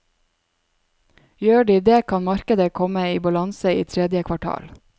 Gjør de det kan markedet komme i balanse i tredje kvartal.